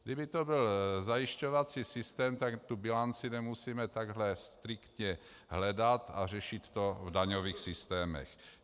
Kdyby to byl zajišťovací systém, tak tu bilanci nemusíme takhle striktně hledat a řešit to v daňových systémech.